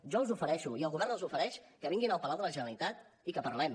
jo els ofereixo i el govern els ho ofereix que vinguin al palau de la generalitat i que parlem